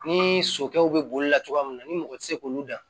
Ni sokɛw be bolila cogoya mun na ni mɔgɔ te se k'olu dan